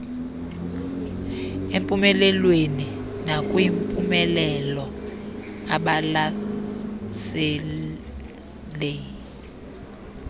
empumelelweni nakwimpumelelo ebalaseley